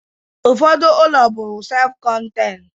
Ụfọdụ ụlọ bụ sef kọntein